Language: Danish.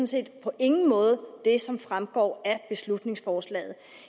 set på ingen måde det som fremgår af beslutningsforslaget